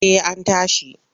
Eh an tashi.